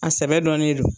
A sɛbɛ dɔnnen don